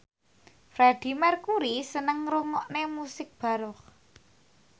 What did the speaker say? Freedie Mercury seneng ngrungokne musik baroque